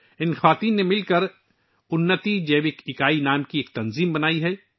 ان خواتین نے مل کر 'اونتی جیوک اکائی' کے نام سے ایک تنظیم بنائی ہے